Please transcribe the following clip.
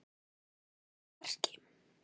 Hún sýndi það í verki.